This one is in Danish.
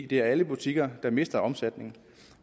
det er alle butikker der mister omsætning